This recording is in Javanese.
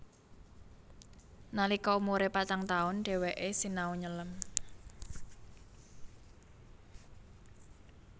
Nalika umure patang taun dheweke sinau nyelem